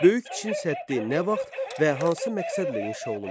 Böyük Çin səddi nə vaxt və hansı məqsədlə inşa olunmuşdu?